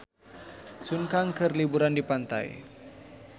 Sun Kang keur liburan di pantai